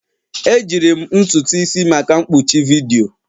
Ejiri m ntutu isi maka mkpuchi vidiyo